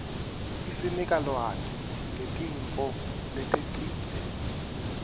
isinika lwati ngetintfo letengcile